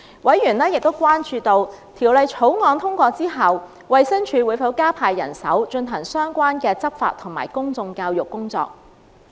委員亦關注到，《條例草案》獲通過後，衞生署會否加派人手，進行相關的執法及公眾教育工作。